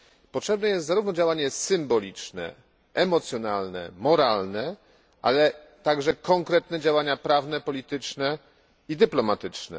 Potrzebne jest działanie zarówno symboliczne, emocjonalne, moralne, ale także konkretne działania prawne, polityczne i dyplomatyczne.